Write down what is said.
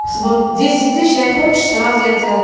свот десять тыщ я хочешь сразу те я от